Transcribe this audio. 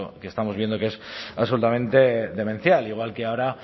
que estamos viendo que es absolutamente demencial igual que ahora